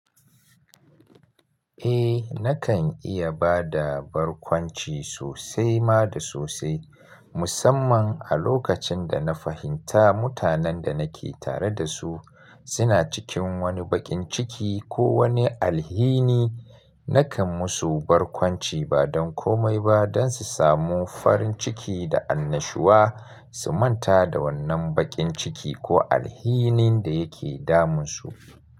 Eh nakan iya ba da barkwanci sosai ma da sosai, musamman a lokacin da na fahimta mutanen da nake tare da su suna cikin wani baƙin ciki ko wani alhini. Nakan musu barkwanci ba don komai ba don su samu farin ciki da annashuwa su manta da wannan bakin ciki ko alhinin da yake damunsu.